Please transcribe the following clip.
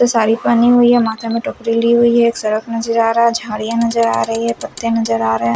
साड़ी पहनी हुई है माथे में टोकरी ली हुई है एक सड़क नजर आ रहा झाड़ियां नजर आ रही है पत्ते नजर आ रहे हैं।